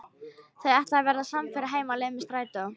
Þau ætla að verða samferða heim á leið með strætó.